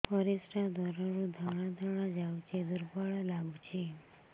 ପରିଶ୍ରା ଦ୍ୱାର ରୁ ଧଳା ଧଳା ଯାଉଚି ଦୁର୍ବଳ ଲାଗୁଚି